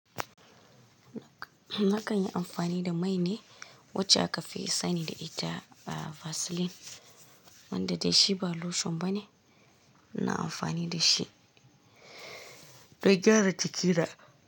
Na kan yi amfani da mai ne wacce aka fi sani da ita da Vaseline wanda da shi ba lotion bane. Na amfani da shi don gyara jikina.